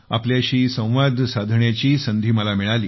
आपल्याशी संवाद साधण्याची संधी मिळाली